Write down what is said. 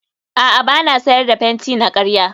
a'a ba na sayar da fenti na karya